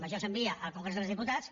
això s’envia al congrés dels diputats